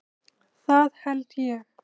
Það held ég.